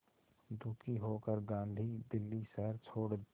दुखी होकर गांधी दिल्ली शहर छोड़